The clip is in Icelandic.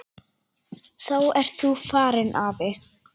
Þá ert þú farinn, afi.